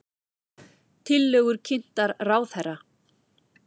Tillögur kynntar ráðherra